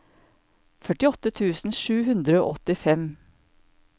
førtiåtte tusen sju hundre og åttifem